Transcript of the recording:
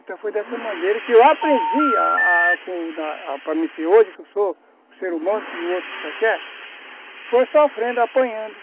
Então foi dessa maneira que eu aprendi a a para mim ser hoje, que eu sou um ser humano como o outro qualquer, foi sofrendo, apanhando.